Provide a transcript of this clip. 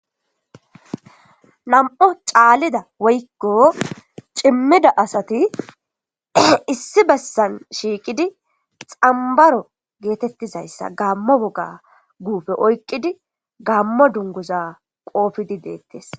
Nam7o caalida woykko cimmida asati issi bessan shiiqidi xambaro geetettizayssa gaammo woga guufe oyqqidi gaammo dunguza qoofidi deettes.